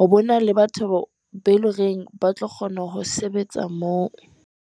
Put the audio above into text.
Ho bona le batho beo eleng hore ba tlo kgona ho sebetsa moo.